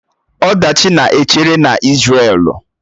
Ọdachi na-echere na Isrelu